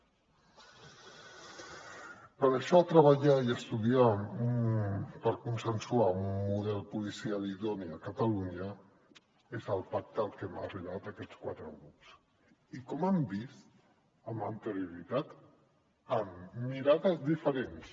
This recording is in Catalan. per això treballar i estudiar per consensuar un model policial idoni a catalunya és el pacte al que hem arribat aquests quatre grups i com han vist amb anterioritat amb mirades diferents